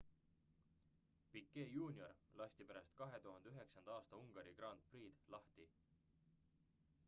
piquet jr lasti pärast 2009 aasta ungari grand prix'd lahti